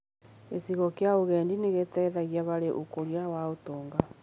Gĩcigo kĩa ũgendi nĩ gĩteithagia harĩ ũkũria wa ũtonga.